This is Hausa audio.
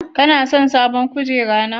Ka son sabon kujera na?